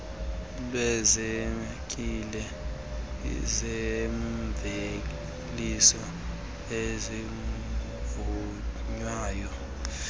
lweevenkile zeemveliso ezivunwayo